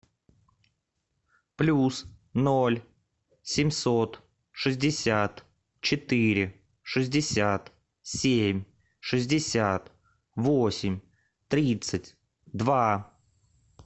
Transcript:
плюс ноль семьсот шестьдесят четыре шестьдесят семь шестьдесят восемь тридцать два